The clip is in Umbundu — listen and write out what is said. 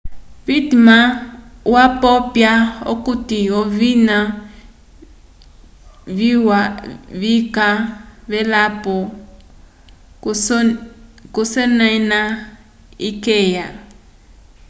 pittman wapopya okuti ovina viwa vika velapo k'osemana ikeya